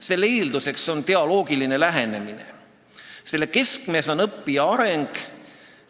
Selle eeldus on dialoogiline lähenemine, selle keskmes on õppija areng.